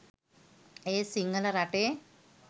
ඒත් සිංහල රටේ